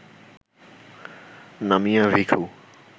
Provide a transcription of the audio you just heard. নামিয়া ভিখু